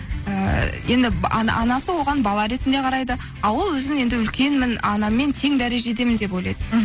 ііі енді анасы оған бала ретінде қарайды а ол өзін енді үлкенмін анаммен тең дәрежедемін деп ойлайды мхм